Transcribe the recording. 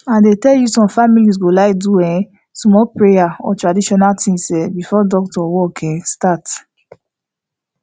i dey tell you some families go like do small prayer or traditional things um before doctor work um start